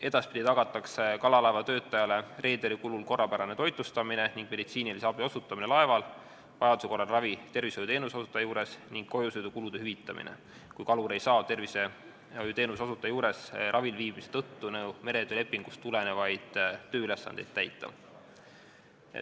Edaspidi tagatakse kalalaevatöötajale reederi kulul korrapärane toitlustamine ning meditsiinilise abi osutamine laeval, vajaduse korral ravi tervishoiuteenuse osutaja juures, ning kojusõidukulude hüvitamine, kui kalur ei saa tervishoiuteenuse osutaja juures ravil viibimise tõttu meretöölepingust tulenevaid tööülesandeid täita.